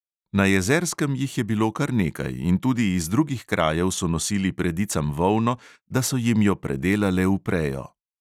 Na jezerskem jih je bilo kar nekaj in tudi iz drugih krajev so nosili predicam volno, da so jim jo predelale v prejo.